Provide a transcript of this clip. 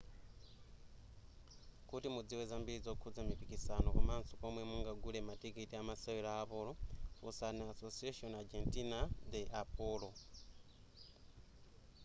kuti mudziwe zambiri zokhuza mipiksano komaso komwe mungagule matikiti a masewero a polo funsani asociacion argentina de polo